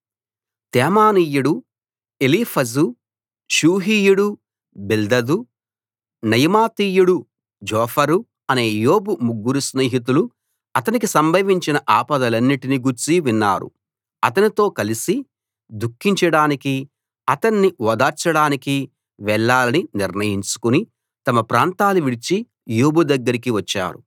తేమానీయుడు Eliphaz షూహీయుడు Bildad నయమాతీయుడు Zophar అనే యోబు ముగ్గురు స్నేహితులు అతనికి సంభవించిన ఆపదలన్నిటిని గూర్చి విన్నారు అతనితో కలిసి దుఃఖించడానికి అతణ్ణి ఓదార్చడానికి వెళ్లాలని నిర్ణయించుకుని తమ ప్రాంతాలు విడిచి యోబు దగ్గరికి వచ్చారు